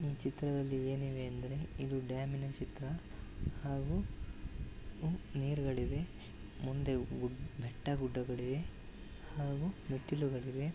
ಈ ಚಿತ್ರದಲ್ಲಿ ಏನಿದೆ ಅಂದರೆ ಇದು ಡ್ಯಾಮಿನ ಚಿತ್ರ ಹಾಗೂ ನೀರ್ ಗಳಿವೆ ಮುಂದೆ ಗುಡ್ಡ ಬೆಟ್ಟಗಳಿವೆ ಹಾಗೂ ಮೆಟ್ಟಿಲುಗಳಿವೆ.